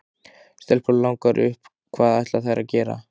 Stelpunum langar upp en hvað ætla þær að gera þar?